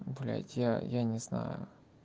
блять я я не знаю